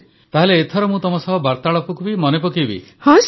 ତାହେଲେ ଏଥର ମୁଁ ତମ ସହ ବାର୍ତ୍ତାଳାପକୁ ବି ମନେ ପକାଇବି